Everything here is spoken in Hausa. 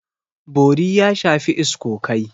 Bori ya shafi iskokai.